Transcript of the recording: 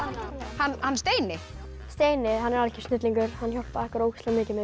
hann Steini steini er algjör snillingur hann hjálpaði okkur ógeðslega mikið með